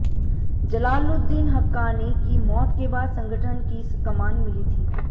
जलालुद्दीन हक्कानी की मौत के बाद संगठन की कमान मिली थी